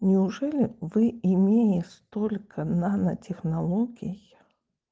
неужели вы имея столько нанотехнологий